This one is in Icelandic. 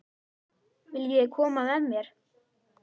Viljiði koma með mér?